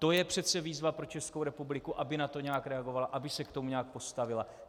To je přece výzva pro Českou republiku, aby na to nějak reagovala, aby se k tomu nějak postavila.